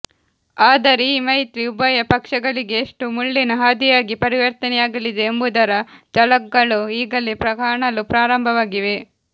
ಆದರೆ ಈ ಮೈತ್ರಿ ಉಭಯ ಪಕ್ಷಗಳಿಗೆ ಎಷ್ಟು ಮುಳ್ಳಿನ ಹಾದಿಯಾಗಿ ಪರಿವರ್ತನೆಯಾಗಲಿದೆ ಎಂಬುದರ ಝಲಕ್ಗಳು ಈಗಲೇ ಕಾಣಲು ಪ್ರಾರಂಭವಾಗಿವೆ